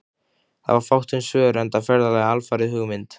Það var fátt um svör, enda ferðalagið alfarið hugmynd